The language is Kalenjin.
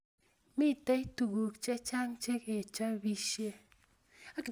Mitei tuguk chechang chekechobisie